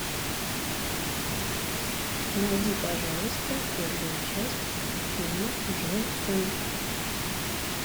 найди пожалуйста первую часть фильма джон уик